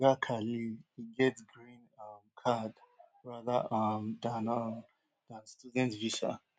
like oga khalil e get green um card rather um dan um dan student visa